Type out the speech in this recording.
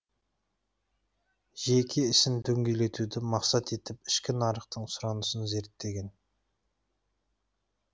жеке ісін дөңгелетуді мақсат етіп ішкі нарықтың сұранысын зерттеген